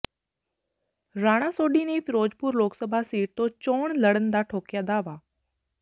ਰਾਣਾ ਸੋਢੀ ਨੇ ਫਿਰੋਜ਼ਪੁਰ ਲੋਕਸਭਾ ਸੀਟ ਤੋਂ ਚੋਣ ਲੜਨ ਦਾ ਠੋਕਿਆ ਦਾਅਵਾ